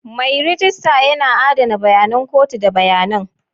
Mai rejista yana adana bayanan kotu da bayanan.